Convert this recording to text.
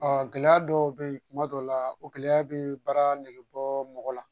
gɛlɛya dɔw bɛ ye kuma dɔw la o gɛlɛya bɛ baara negebɔ mɔgɔ la